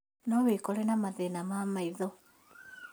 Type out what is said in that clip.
No wĩkore na mathĩna ma maitho